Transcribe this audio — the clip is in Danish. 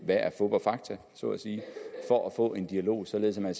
der er fup og fakta så at sige for at få en dialog således at man